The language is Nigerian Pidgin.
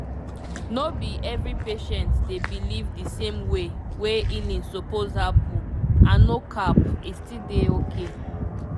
no be every patient dey believe di same way wey healing suppose happen and no cap e still dey okay